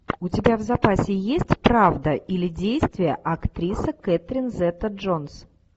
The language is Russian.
у тебя в запасе есть правда или действие актриса кэтрин зета джонс